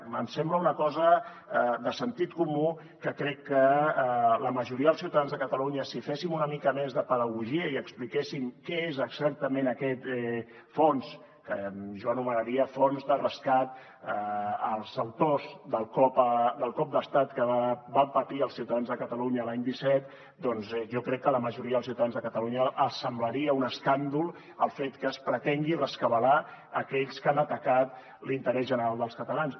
em sembla una cosa de sentit comú que crec que a la majoria dels ciutadans de catalunya si féssim una mica més de pedagogia i expliquéssim què és exactament aquest fons que jo anomenaria fons de rescat als autors del cop d’estat que van patir els ciutadans de catalunya l’any disset doncs jo crec que a la majoria dels ciutadans de catalunya els semblaria un escàndol el fet que es pretengui rescabalar aquells que han atacat l’interès general dels catalans